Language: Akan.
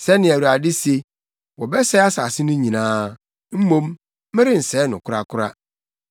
Sɛnea Awurade se: “Wɔbɛsɛe asase no nyinaa; mmom, merensɛe no korakora.